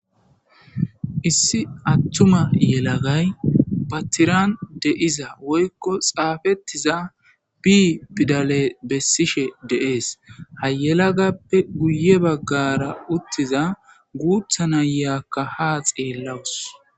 issi attuma yelagay pattiraan deiza woykko xaafettiza bi pidale bessishe deees hayelagappe guye baggara uttiza guutha na yyaakka ha xeellawus